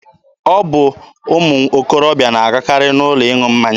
Ọ bụ ụmụ okorobịa na-agakarị n'ụlọ ịṅụ mmanya.